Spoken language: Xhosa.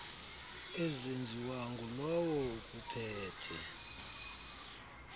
ezenziwa ngulowo ukuphethe